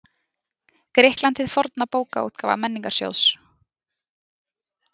Grikkland hið forna Bókaútgáfa Menningarsjóðs.